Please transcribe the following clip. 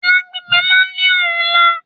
Ilá gbígbẹ̀ náà ni ọ̀rúnlá